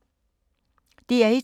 DR1